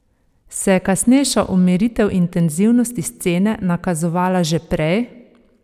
Se je kasnejša umiritev intenzivnosti scene nakazovala že prej?